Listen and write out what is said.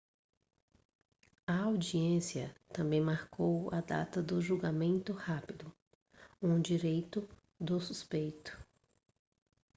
a audiência também marcou a data do julgamento rápido um direito do suspeito